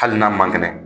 Hali n'a ma kɛnɛ